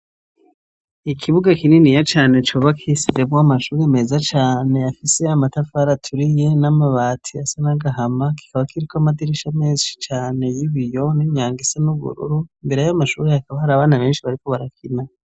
Ikibuga kininiya cane cubakitsemwo amashuri meza cane yafise amatafara aturiye n'amabati asa nagahama .Kikaba kiriko amadirisha menshi cane y'ibiyo n'imyango isa n'ubururu imbere yay'amashuri yakaba hara abana benshi bariko barakina.